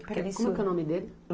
Como é que é o nome dele?